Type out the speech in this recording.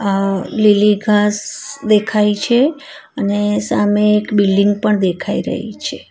આ લીલી ઘાંસ દેખાય છે અને સામે એક બિલ્ડીંગ પણ દેખાય રહી છે.